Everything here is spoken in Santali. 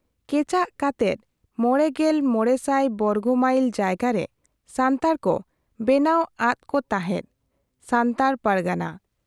ᱠᱮᱪᱟᱜ ᱠᱟᱛᱮᱫ ᱕᱕᱐᱐ ᱵᱚᱨᱜᱚ ᱢᱟᱭᱤᱞ ᱡᱟᱭᱜᱟᱨᱮ ᱥᱟᱱᱛᱟᱲ ᱠᱚ ᱵᱮᱱᱟᱣ ᱟᱫᱠᱚ ᱛᱟᱦᱮᱸᱫ ᱾ᱥᱟᱱᱛᱟᱲ ᱯᱟᱨᱜᱟᱱᱟ ᱾